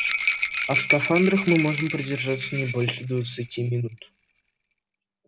а в скафандрах мы можем продержаться не больше двадцати минут